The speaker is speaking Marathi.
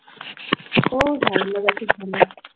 हो झाला मगाशीच झाला.